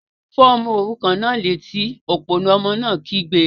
Fọ́ ọmọ òrukàn náà létí! Òpònú ọmọ náà kígbe